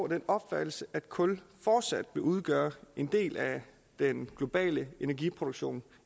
den opfattelse at kul fortsat vil udgøre en del af den globale energiproduktion